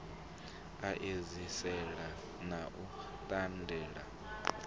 a edziselea na u tendelela